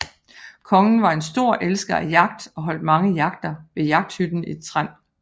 Kongen var en stor elsker af jagt og holdt mange jagter ved jagthytten i Trend